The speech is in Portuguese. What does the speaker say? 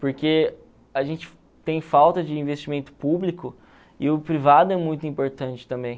Porque a gente tem falta de investimento público e o privado é muito importante também.